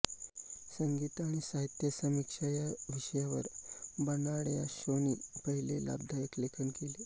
संगीत आणि साहित्यसमीक्षा या विषयांवर बर्नार्ड शॉ यांनी पहिले लाभदायक लेखन केले